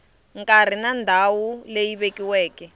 nkarhi na ndhawu leyi vekiweke